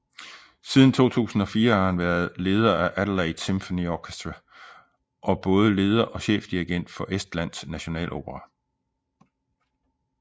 Siden 2004 har han været leder af Adelaide Symphony Orchestra og både leder og chefdirigent for Estlands Nationalopera